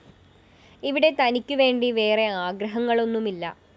ഇവിടെ തനിക്കുവേണ്ടി വേറെ ആഗ്രഹങ്ങളൊന്നുമില്ല